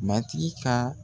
Matigi ka